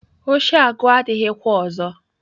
Oshi aguo adighi kwa ozo.